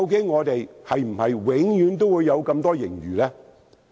我們是否永遠也會有這麼多盈餘呢？